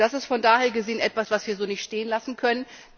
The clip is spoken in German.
Das ist von daher gesehen etwas, das wir so nicht stehen lassen können.